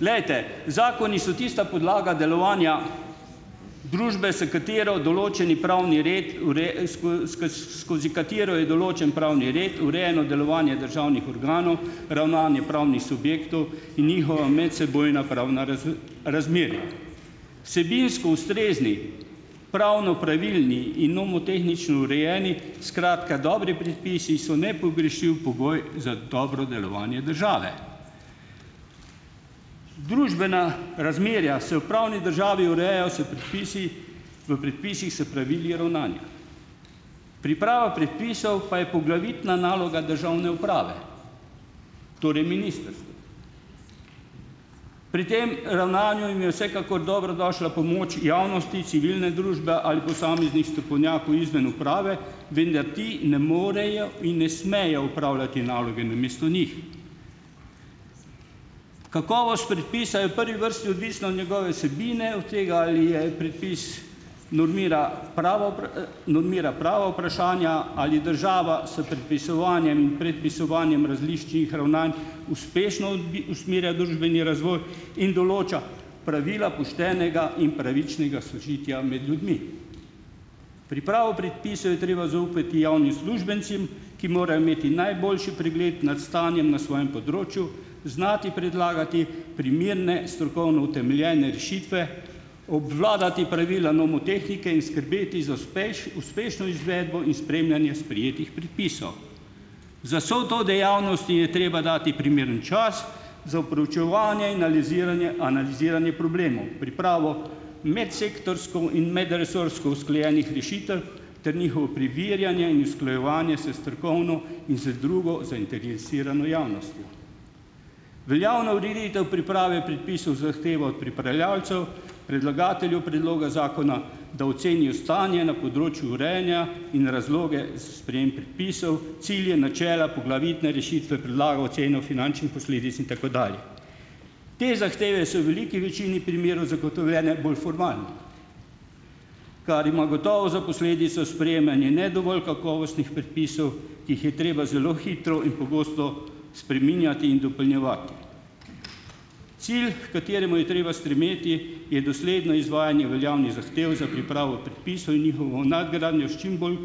glejte, zakoni so tista podlaga delovanja družbe, s katero določeni pravni red skozi katero je določen pravni red delovanje državnih organov, ravnanje pravnih subjektov in njihova medsebojna pravna Vsebinsko ustrezni, pravno pravilni in nomotehnično urejeni, skratka, dobri predpisi so nepogrešljiv pogoj za dobro delovanje države. Družbena razmerja se v pravni državi urejajo s predpisi , v predpisih s pravili ravnanja. Priprava predpisov pa je poglavitna naloga državne uprave. Torej ministrstva. Pri tem ravnanju je vsekakor dobrodošla pomoč javnosti, civilne družbe ali posameznih strokovnjakov izven uprave, vendar ti ne morejo in ne smejo opravljati naloge namesto njih. Kakovost predpisa je v prvi vrsti odvisna od njegove vsebine, od tega, ali je prepis normira prava normira prava vprašanja, ali država s predpisovanjem, prepisovanjem različnih ravnanj uspešno usmerja družbeni in določa pravila poštenega in pravičnega sožitja med ljudmi. Pripravo predpisov je treba zaupati uslužbencem, ki morajo imeti najboljši pregled nad stanjem na svojem področju, znati predlagati primerne strokovno utemeljene rešitve, obvladati pravila nomotehnike in skrbeti za uspešno izvedbo in spremljanje sprejetih Za to dejavnost je treba dati primeren čas, za proučevanje in aliziranje, analiziranje problemov, pripravo medsektorsko in medresorsko usklajenih rešitev ter njihovo preverjanje in usklajevanje s strokovno in z drugo zainteresirano javnostjo. Veljavna ureditev priprave predpisov zahteva od pripravljavcev, predlagateljev predloga zakona, da ocenijo stanje na področju urejanja in razloge, sprejem predpisov, cilje, načela, poglavitne rešitve, predlaga oceno finančnih posledic in tako dalje. Te zahteve so v veliki večini primerov zagotovljene bolj formalno, kar ima gotovo za posledico sprejemanje ne dovolj kakovostnih predpisov, ki jih je treba zelo hitro in pogosto spreminjati in dopolnjevati. Cilj, h kateremu je treba stremeti, je dosledno izvajanje veljavnih zahtev za pripravo predpisov in njihovo nadgradnjo s čim bolj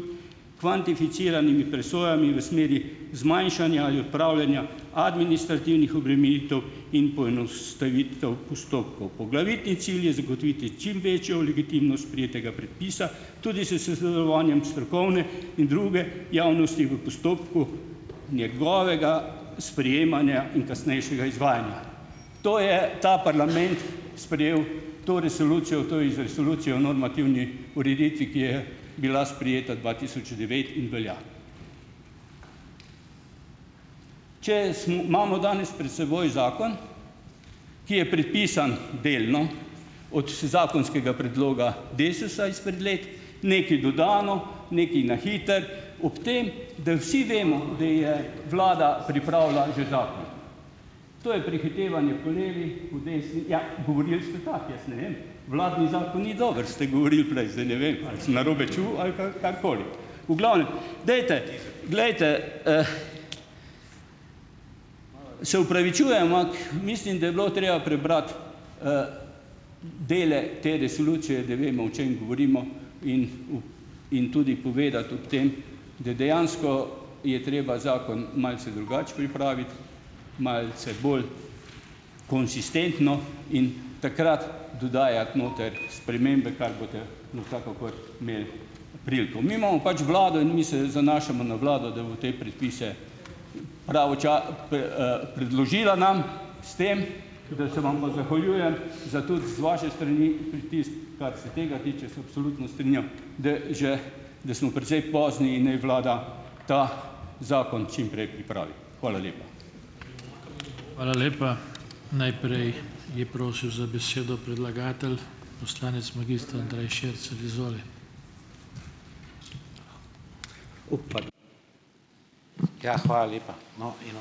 kvantificiranimi presojami v smeri zmanjšanja ali odpravljanja administrativnih obremenitev in poenostavitev postopkov. Poglavitni cilj je zagotoviti čim večjo legitimnost sprejetega predpisa, tudi s s sodelovanjem strokovne in druge javnosti v postopku njegovega sprejemanja in kasnejšega izvajanja. To je ta parlament sprejel to resolucijo, to resolucijo o normativni ureditvi, ki je bila sprejeta dva tisoč devet in velja. Če imamo danes pred seboj zakon, ki je prepisan delno od zakonskega predloga Desusa izpred let, nekaj dodano, nekaj na hitro, ob tem, da vsi vemo, da je vlada pripravila že zakon. To je prehitevanje po levi, po desni. Ja, govorili ste pa, jaz ne vem. Vladni zakon ni dober, ste govorili prej. Zdaj ne vem, ali sem narobe čul ali pa karkoli. V glavnem, dajte , glejte, Se opravičujem, ampak mislim, da je bilo treba prebrati, zdajle te resolucije, da vemo, o čem govorimo, in v, in tudi povedati ob tem, da dejansko je treba zakon malce drugače pripraviti, malce bolj konsistentno in takrat dodajati noter spremembe, kar boste imeli priliko. Mi imamo pač vlado in mi se zanašamo na vlado, da bo te predpise p, predložila nam, s tem, da se vam pa zahvaljujem za tudi z vaše strani pritisk. Kar se tega tiče, se absolutno strinjam, da že da smo precej pozni in naj vlada ta zakon čim prej pripravi. Hvala lepa.